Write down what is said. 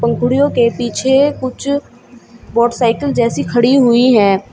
पंखुड़ियों के पीछे कुछ मोटरसाइकिल जैसी खड़ी हुई है।